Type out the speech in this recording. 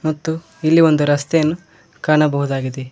ಮತ್ತು ಇಲ್ಲಿ ಒಂದು ರಸ್ತೆಯನ್ನು ಕಾಣಬಹುದಾಗಿದೆ.